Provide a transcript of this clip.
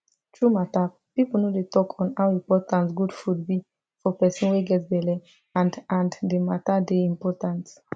true matter people no dey to talk on how important good food be for person wey get belle and and rhe matter dey important